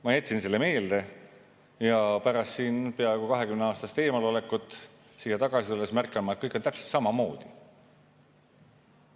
Ma jätsin selle meelde ja pärast peaaegu 20-aastast eemalolekut siia tagasi tulles märkan ma, et kõik on täpselt samamoodi.